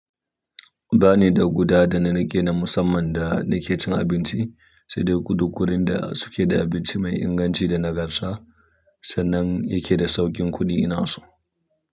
Ba ni da guda da na riƙe na musamman da nake cin abinci, sai dai kullum wurin da suke da abinci mai inganci da nagarta, sannan yake da sauƙin kuɗi ina so.